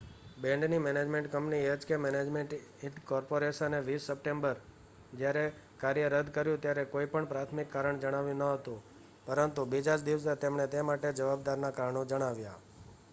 બેન્ડની management company H K management incorporation એ 20 સપ્ટેમ્બરે જયારે કાર્ય રદ કર્યું ત્યારે કોઈ પણ પ્રાથમિક કારણ જણાવ્યું ન હતું પરંતુ બીજા જ દિવસે એમણે તે માટે જવાબદારના કારણો જણાવ્યા